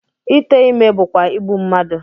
Ite ime bụkwa igbu mmadụ